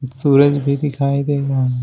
सूरज भी दिखाई दे रहा है।